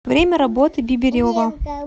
время работы бибирево